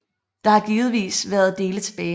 Der har givetvis været dele tilbage